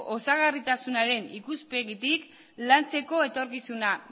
osagarritasunaren ikuspegitik lantzeko etorkizuna